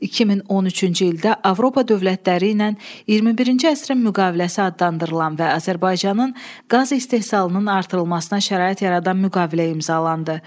2013-cü ildə Avropa dövlətləri ilə 21-ci əsrin müqaviləsi adlandırılan və Azərbaycanın qaz istehsalının artırılmasına şərait yaradan müqavilə imzalandı.